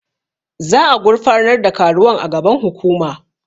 Za'a gurfanar da karuwan a gaban hukuma.